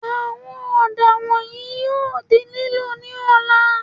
Àwọn ọ̀dà wọ̀nyìí yóò di lílò ní ọ̀la